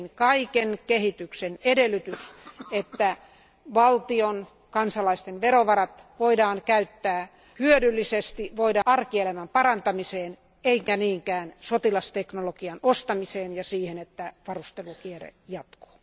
Kaiken kehityksen edellytys on, että valtion kansalaisten verovarat voidaan käyttää hyödyllisesti, arkielämän parantamiseen, eikä niinkään sotilasteknologian ostamiseen ja siihen, että varustelukierre jatkuu.